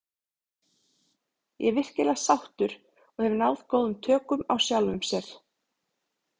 Ég er virkilega sáttur og hef náð góðum tökum á sjálfum sér.